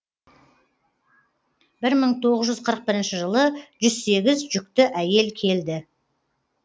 бір мың тоғыз жүз қырық бірінші жылы жүз сегіз жүкті әйел келді